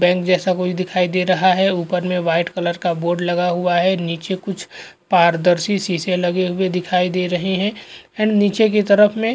bank जैसा कुछ दिखाई दे रहा है ऊपर में वाइट कलर का बोर्ड लगा हुआ है नीचे कुछ पारदर्शी शीशे लगे हुआ दिखाई दे रहे है एंड नीचे की तरफ में --